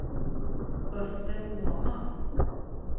Östen Åman